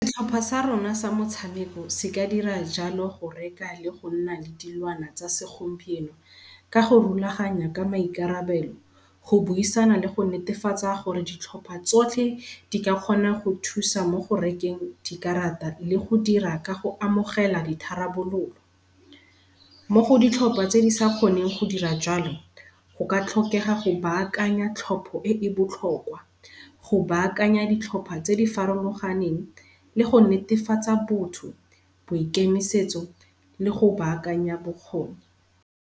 Setlhopha sa rona sa motshameko se ka dira jalo go reka le go nna le dilwana tsa segompieno, ka go rulaganya ka maikarabelo go buisana le go netefatsa gore ditlhopha tsotlhe, di ka kgona go thusa mo go rekeng dikarata le go dira ka go amogela ditharabololo. Mo go ditlhopha tse di sa kgoneng go dira jalo go ka tlhokega go baakanya thlopho e e botlhokwa, go baakanya ditlhopha tse di farologaneng le go netefatsa botho, boikemisetso le go baakanya bokgoni.